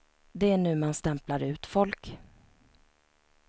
Det är nu man stämplar ut folk.